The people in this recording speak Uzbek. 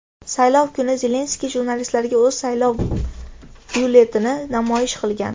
Saylov kuni Zelenskiy jurnalistlarga o‘z saylov byulletenini namoyish qilgan.